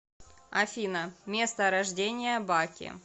афина место рождения баки